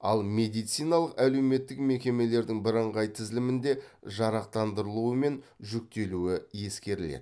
ал медициналық әлеуметтік мекемелердің бірыңғай тізілімінде жарақтандырылуы мен жүктелуі ескеріледі